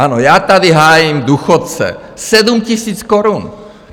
Ano, já tady hájím důchodce - 7 000 korun.